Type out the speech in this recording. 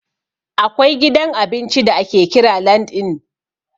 Akwai gidan abinci da ake kira LandN.